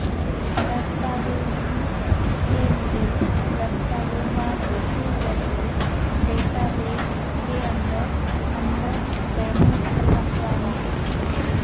دستاویزی کے لئے دستاویزات کے ذریعے ڈیٹا بیس کے اندر اندر بین الاقوامی